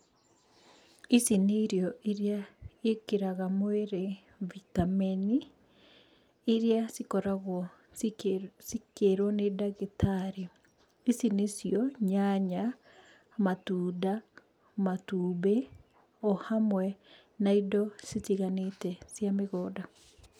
Ici nĩ irio iria ciĩkagĩra mwĩrĩ vitamin iria cikoragwo cikĩrwo nĩ ndagĩtarĩ. Ici nĩcio nyanya matunda matumbĩ o hamwe na indo citiganĩte cia mĩgũnda.